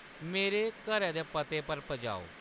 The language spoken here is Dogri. मेरे घरै दे पते पर पजाओ